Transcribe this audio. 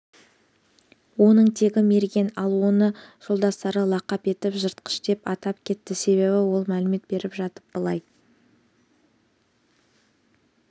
оның тегі мерген ал оны жолдастары лақап етіп жыртқыш деп атап кетті себебі ол мәлімет беріп жатып былай